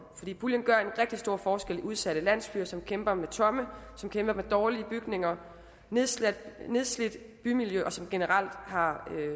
puljen gør en rigtig stor forskel i udsatte landsbyer som kæmper med tomme dårlige bygninger nedslidte nedslidte bymiljøer og som generelt har